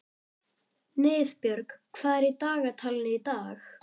Niðbjörg, hvað er í dagatalinu í dag?